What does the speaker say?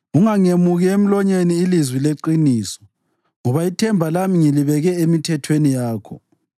Ungangemuki emlonyeni ilizwi leqiniso, ngoba ithemba lami ngilibeke emithethweni yakho.